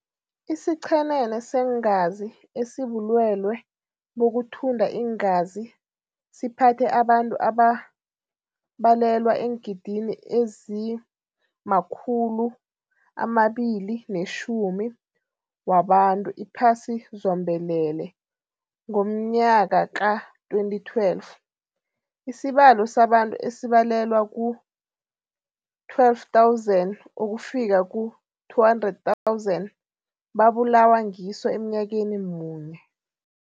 Isichenene seengazi esibulwelwe bokuthunda iingazi siphathe abantu ababalelwa eengidigidini ezima-210 wabantu iphasi zombelele ngomnayaka ka-2012. Isibalo sabantu esibalelwa ku-12 000 ukufika ku 200,000 babulawa ngiso emnyakeni munye.